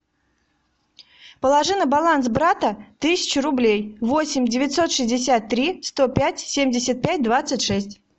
положи на баланс брата тысячу рублей восемь девятьсот шестьдесят три сто пять семьдесят пять двадцать шесть